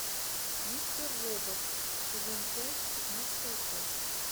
мистер робот сезон пять пятнадцатая часть